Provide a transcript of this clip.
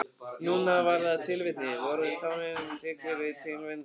Núna var það tilvitnunin: Vorið tánum tyllir tindana á.